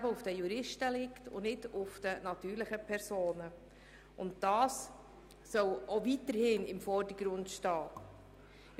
Die juristischen Personen sollen auch weiterhin im Vordergrund stehen.